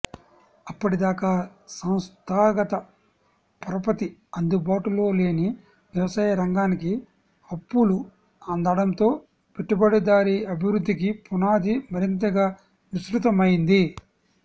అప్పటిదాకా సంస్థాగత పరపతి అందుబాటులో లేని వ్యవసాయ రంగానికి అప్పులు అందటంతో పెట్టుబడిదారీ అభివృద్ధికి పునాది మరింతగా విస్తృతమైంది